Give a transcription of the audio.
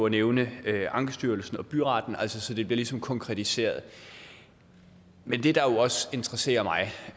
nævnte ankestyrelsen og byretten så det ligesom bliver konkretiseret men det der også interesserer mig